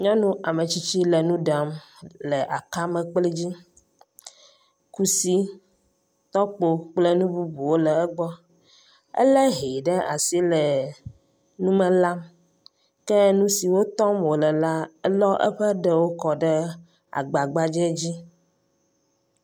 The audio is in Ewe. Nyɔnu ametsitsi le nu ɖam le akamekpli dzi. Kusi, tɔkpo kple nu bubuwo le egbɔ. Elé hɛ ɖe asi le nu me lam ke nu siwo tɔm wòle la elɔ eƒe ɖewo kɔ ɖe agba gbadzɛ dzi.